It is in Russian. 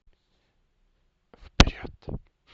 вперед